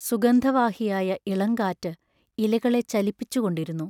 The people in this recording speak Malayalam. സുഗന്ധ വാഹിയായ ഇളങ്കാറ് ഇലകളെ ചലിപ്പിച്ചുകൊണ്ടിരുന്നു.